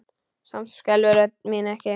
Samt skelfur rödd mín ekki.